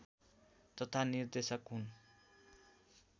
तथा निर्देशक हुन्